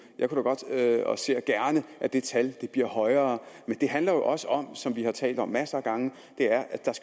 jeg ser gerne at det tal bliver højere men det handler jo også om som vi har talt om masser af gange